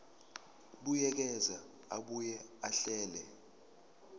buyekeza abuye ahlele